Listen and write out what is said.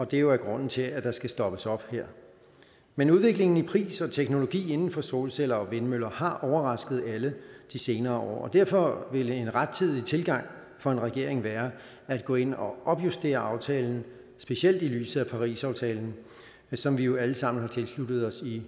det jo er grunden til at der skal stoppes op her men udviklingen i pris og teknologi inden for solceller og vindmøller har overrasket alle de senere år og derfor vil en rettidig tilgang for en regering være at gå ind og opjustere aftalen specielt i lyset af parisaftalen som vi jo alle sammen har tilsluttet os i